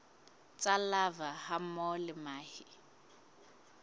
tsa larvae hammoho le mahe